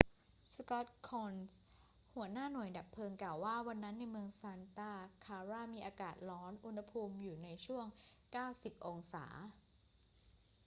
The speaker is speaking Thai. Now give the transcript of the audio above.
scott kouns หัวหน้าหน่วยดับเพลิงกล่าวว่า วันนั้นในเมืองซานตาคลารามีอากาศร้อน อุณหภูมิอยู่ในช่วง 90 องศา